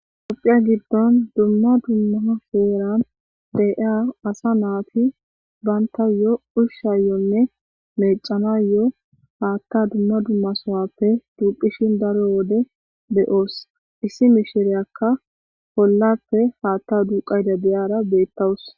Dopphiya giddon dumma dumma feeran de'a asa naati baynta yo ushshayonne meecana yo' haatta dumma dummasowappe duuphishin daro wode beyoos issi mishireyakka pollappe haatta duuqayda deyaara beettawus.